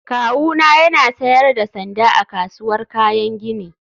Kawuna yana sayar da sanda a kasuwar kayan gini